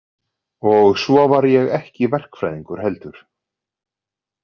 Og svo var ég ekki verkfræðingur heldur.